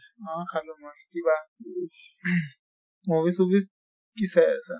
অ খালো মই কিবা ing movies চুভিচ কি চাই আছা?